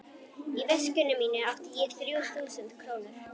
Í veskinu mínu átti ég þrjú þúsund krónur.